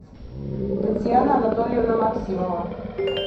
татьяна анатольевна максимова